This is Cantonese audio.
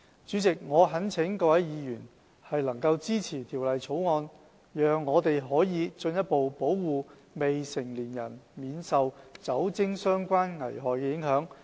主席，我懇請各位議員支持《條例草案》，讓我們可進一步保護未成年人免受酒精相關危害的影響。